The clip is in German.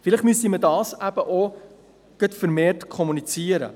Vielleicht müsste man dies vermehrt kommunizieren.